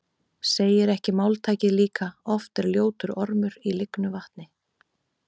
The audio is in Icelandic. Segir ekki máltækið líka: Oft er ljótur ormur í lygnu vatni